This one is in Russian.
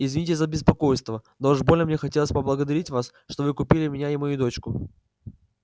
извините за беспокойство да уж больно мне хотелось поблагодарить вас что вы купили меня и мою дочку